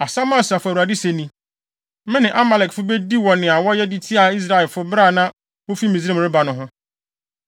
Asɛm a Asafo Awurade se ni, ‘Me ne Amalekfo bedi wɔ nea wɔyɛ de tiaa Israelfo bere a na wofi Misraim reba no ho.